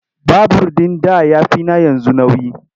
Babur ɗin da ya fi na yanzu nauyi.